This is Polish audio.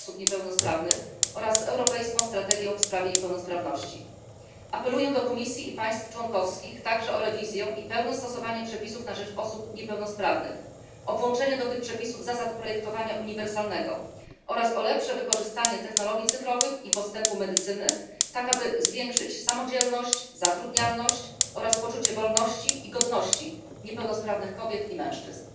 praw osób niepełnosprawnych oraz europejską strategię w sprawie niepełnosprawności. Apeluję także do Komisji i państw członkowskich o rewizję i pełne stosowanie przepisów na rzecz osób niepełnosprawnych, o włączenie do tych przepisów zasad projektowania uniwersalnego oraz o lepsze wykorzystanie technologii cyfrowych i postępu medycyny, tak aby zwiększyć samodzielność, zatrudnialność, oraz poczucie wolności i godności niepełnosprawnych kobiet i mężczyzn.